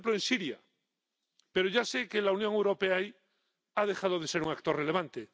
por ejemplo en Siria, pero ya sé que la Unión Europea ahí ha dejado de ser un actor relevante.